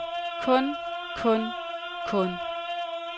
kun kun kun